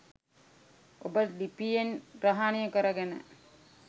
ඔබ ලිපියෙන් ග්‍රහනය කරගෙන